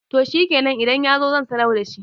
to shikenan idan ya zo zan sanar da shi